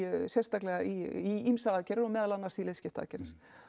sérstaklega í ýmsar aðgerðir meðal annars í liðskiptaaðgerðir